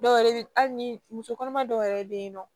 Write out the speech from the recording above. Dɔw yɛrɛ bɛ hali ni muso kɔnɔma dɔw yɛrɛ bɛ yen nɔ